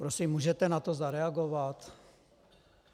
Prosím, můžete na to zareagovat?